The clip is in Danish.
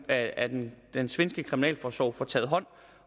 at at den den svenske kriminalforsorg får taget hånd